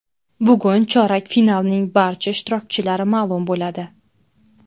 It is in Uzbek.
Bugun chorak finalning barcha ishtirokchilari ma’lum bo‘ladi.